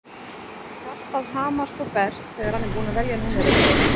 Hjartað hamast og berst þegar hann er búinn að velja númerið.